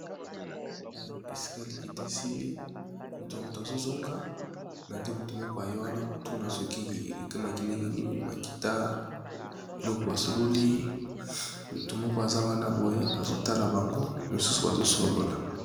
kala esika likita esili moto ya moto azozonga na nde moto moko aye wana kotuna soki ekemaki ndenge nini makita eloko basololi moto moko aza wana boye azotala bango mosusu bazosolola